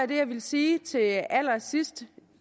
det jeg ville sige til allersidst